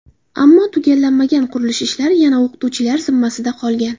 Ammo tugallanmagan qurilish ishlari yana o‘qituvchilar zimmasida qolgan.